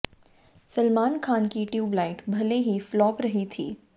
सलमान खान की ट्यूबलाइट भले ही फ्लॉप रही थी